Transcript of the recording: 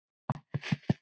Svo góð er hún.